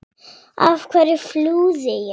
Af hverju flúði ég?